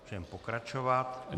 Můžeme pokračovat.